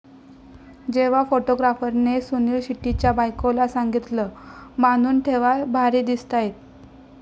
जेव्हा फोटोग्राफरने सुनिल शेट्टीच्या बायकोला सांगितलं, बांधून ठेवा भारी दिसतायेत